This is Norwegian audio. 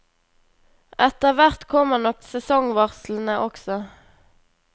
Etter hvert kommer nok sesongvarslene også.